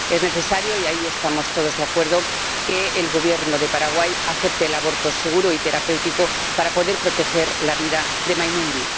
Es necesario ―y ahí estamos todos de acuerdo― que el Gobierno de Paraguay acepte el aborto seguro y terapéutico para poder proteger la vida de Mainumby.